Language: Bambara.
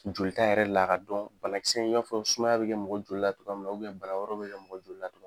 Joli ta yɛrɛ la a ka dɔn banakisɛ in'a fɔ sumaya bi kɛ mɔgɔ jolila togoya mina u bɛn bana wɛrɛw yɛrɛ bi kɛ mɔgɔ jolila togoya munna